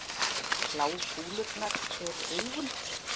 bláu kúlurnar eru augun